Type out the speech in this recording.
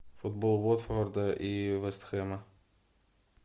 футбол уотфорда и вест хэма